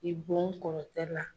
I bon kɔrɔtɛ la.